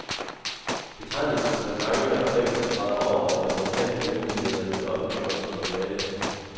Betegnelsen for det manglende objekt er streget over af de amerikanske myndigheder i det offentliggjorte materiale.